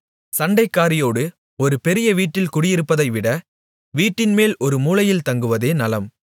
சண்டைக்காரியோடு ஒரு பெரிய வீட்டில் குடியிருப்பதைவிட வீட்டின்மேல் ஒரு மூலையில் தங்குவதே நலம்